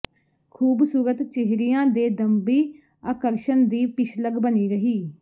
ਖ਼ੂਬਸੂਰਤ ਚਿਹਰਿਆਂ ਦੇ ਦੰਭੀ ਆਕਰਸ਼ਣ ਦੀ ਪਿੱਛਲਗ ਬਣੀ ਰਹੀ